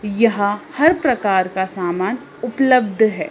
यहां हर प्रकार का सामान उपलब्ध है।